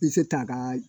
I bɛ se k'a kaa